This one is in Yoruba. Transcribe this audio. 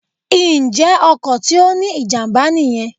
Ǹjẹ́ ọkọ̀ tí ó ní ìjàmbá nìyen